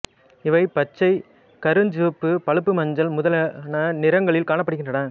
இவை பச்சை கருஞ்சிவப்பு பழுப்பு மஞ்சள் முதலான நிறங்களில் காணப்படுகின்றன